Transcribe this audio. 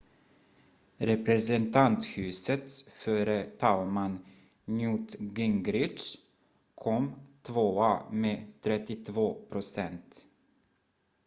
representanthusets förre talman newt gingrich kom tvåa med 32 procent